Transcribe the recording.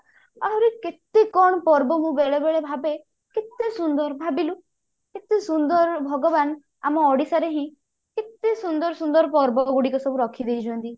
ଆହୁରି କେତେ କଣ ପର୍ବ ମୁଁ ବେଳେ ବେଳେ ଭାବେ କେତେ ସୁନ୍ଦର ଭାବିଲୁ କେତେ ସୁନ୍ଦର ଭଗବାନ ଆମ ଓଡିଶା ରେ ହିଁ କେତେ ସୁନ୍ଦର ସୁନ୍ଦର ପର୍ବ ଗୁଡିକ ସବୁ ରଖିଦେଇଛନ୍ତି